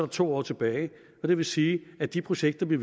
to år tilbage det vil sige at de projekter vi